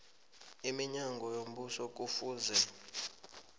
iminyango yombuso kufuze